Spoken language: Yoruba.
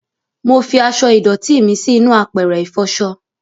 Mọ fí aṣọ ìdòtí mí sí inú àpẹrẹ ifọṣọ